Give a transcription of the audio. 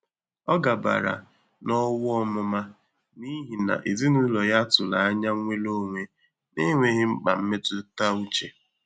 Ọ́ gàbàrà n’ówú ọ́mụ́má n’íhí nà èzínụ́lọ́ yá tụ́rụ̀ ányá nnwéré ónwé n’énwéghị́ mkpà mmétụ́tà úchè.